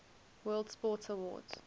world sports awards